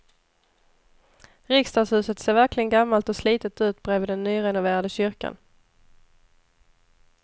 Riksdagshuset ser verkligen gammalt och slitet ut bredvid den nyrenoverade kyrkan.